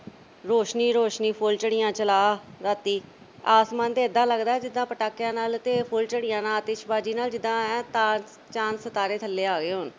ਰੋਸ਼ਨੀ ਹੀ ਰੋਸ਼ਨੀ ਫੁੱਲਝੜੀਆਂ ਚਲਾ ਰਾਤੀ ਆਸਮਾਨ ਤਾਂ ਐਦਾ ਲੱਗਦੈ ਜਿੱਦਾ ਪਟਾਕਿਆਂ ਨਾਲ ਤੇ ਫੁੱਲਝੜੀਆਂ ਨਾਲ, ਆਤਿਸ਼ਬਾਜ਼ੀ ਨਾਲ ਜਿੱਦਾ ਐ ਚਾ ਅਹ ਚਾਂਦ ਸਿਤਾਰੇ ਥੱਲੇ ਆ ਗਏ ਹੋਣ।